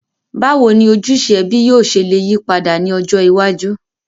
Bàwoni ojúse ẹbí yio se le yípadà ni ọjọ́ iwájú?